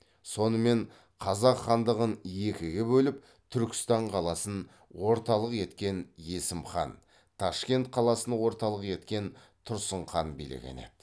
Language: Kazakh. сонымен қазақ хандығын екіге бөліп түркістан қаласын орталық еткен есім хан ташкент қаласын орталық еткен тұрсын хан билеген еді